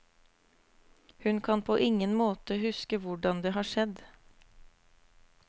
Hun kan på ingen måte huske hvordan det har skjedd.